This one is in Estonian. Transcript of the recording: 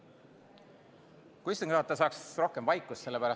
Kas istungi juhataja saaks rohkem vaikust?